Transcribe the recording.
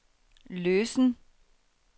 løsen